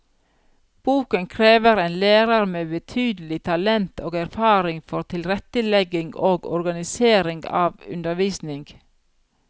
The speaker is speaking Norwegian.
Boken krever en lærer med betydelig talent og erfaring for tilrettelegging og organisering av undervisning.